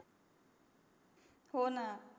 हो ना